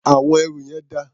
Àwọn ẹrù yẹn dà?